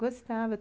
Gostava.